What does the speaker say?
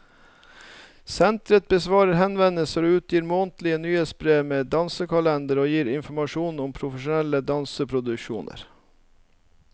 Senteret besvarer henvendelser og utgir månedlige nyhetsbrev med dansekalender som gir informasjon om profesjonelle danseproduksjoner.